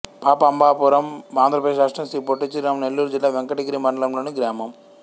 పాపమాంబాపురం ఆంధ్ర ప్రదేశ్ రాష్ట్రం శ్రీ పొట్టి శ్రీరాములు నెల్లూరు జిల్లా వెంకటగిరి మండలం లోని గ్రామం